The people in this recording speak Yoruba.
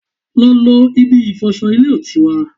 Lọ lo ibi ìfọsọ ilé ìtura!